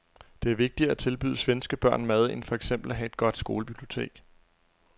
Det er vigtigere at tilbyde svenske børn mad end for eksempel at have et godt skolebibliotek.